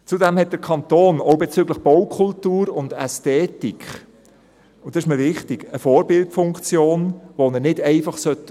Zudem hat der Kanton auch bezüglich Baukultur und Ästhetik – und das ist mir wichtig – eine Vorbildfunktion, die er nicht einfach aufgeben sollte.